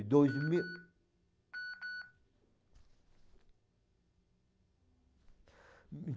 dois mil (alarme)